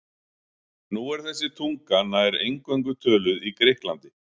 Nú er þessi tunga nær eingöngu töluð í Grikklandi.